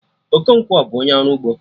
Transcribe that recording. Okonkwo bụ onye ọrụ ugbo